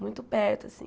Muito perto, assim.